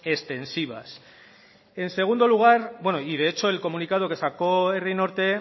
extensivas en segundo lugar bueno y de hecho el comunicado que sacó herri norte